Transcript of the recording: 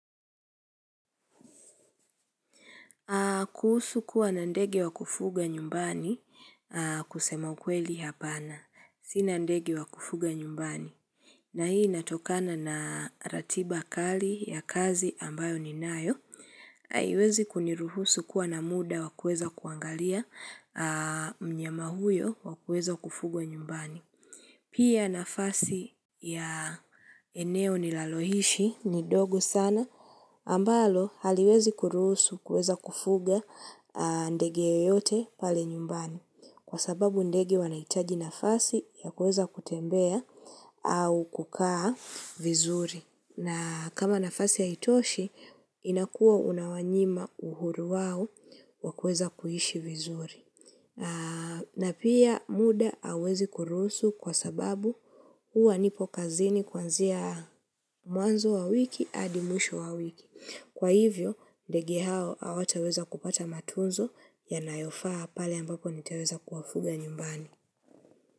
Kuhusu kuwa na ndege wa kufuga nyumbani kusema ukweli hapana. Sina ndege wa kufuga nyumbani. Na hii inatokana na ratiba kali ya kazi ambayo ninayo. Haiwezi kuniruhusu kuwa na muda wakueza kuangalia mnyama huyo wakueza kufugwa nyumbani. Pia nafasi ya eneo nilalohishi ni dogo sana ambalo haliwezi kuruhusu kueza kufuga ndege yoyote pale nyumbani. Kwa sababu ndege wanaitaji nafasi ya kuweza kutembea au kukaa vizuri. Na kama nafasi yaitoshi, inakuwa unawanyima uhuru wawo wakweza kuhishi vizuri. Na pia muda awezi kurusu kwa sababu uwa nipo kazini kwanzia muanzo wa wiki adi muisho wa wiki. Kwa hivyo, ndege hao awateweza kupata matunzo yanayofaa pale ambapo nitaweza kuwafuga nyumbani.